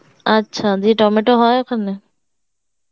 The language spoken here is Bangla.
আচ্ছা দিয়ে টমেটো হয়ে ওখানে?